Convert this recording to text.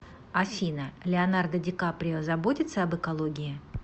афина леонардо ди каприо заботится об экологии